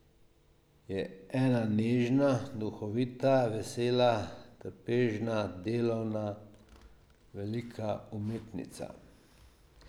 Je ena nežna, duhovita, vesela, trpežna, delovna, velika umetnica.